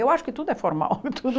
Eu acho que tudo é formal. tudo